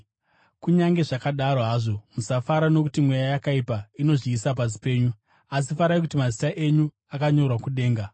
Kunyange zvakadaro hazvo, musafara nokuti mweya yakaipa inozviisa pasi penyu, asi farai kuti mazita enyu akanyorwa kudenga.”